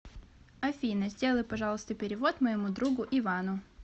афина сделай пожалуйста перевод моему другу ивану